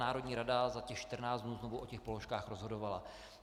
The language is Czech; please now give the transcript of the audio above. Národní rada za těch 14 dnů znovu o těch položkách rozhodovala.